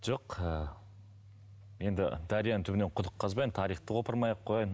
жоқ ы енді дарияның түбінен құдық қазбайын тарихты қопармай ақ қояйын